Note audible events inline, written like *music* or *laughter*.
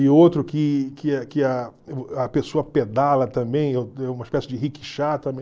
E outro que que a que a a pessoa pedala também, *unintelligible* uma espécie de riquixá *unintelligible*